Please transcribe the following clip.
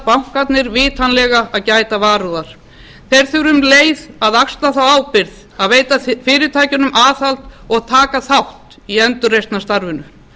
bankarnir vitanlega að gæta varúðar þeir þurfa um leið að axla þá ábyrgð að veita fyrirtækjunum aðhald og taka þátt í endurreisnarstarfinu